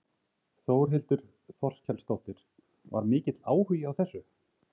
Þórhildur Þorkelsdóttir: Var mikill áhugi á þessu?